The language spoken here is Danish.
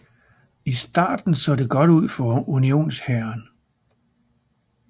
I starten så det godt ud for Unionshæren